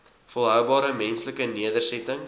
volhoubare menslike nedersettings